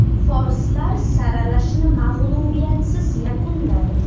Forslar saralashni mag‘lubiyatsiz yakunladi.